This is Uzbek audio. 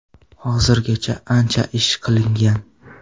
Hozirgacha ancha ish qilingan.